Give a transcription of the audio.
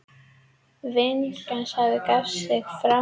Vinningshafi gaf sig fram